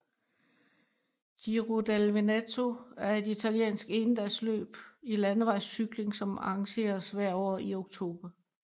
Giro del Veneto er et italiensk endagsløb i landevejscykling som arrangeres hvert år i oktober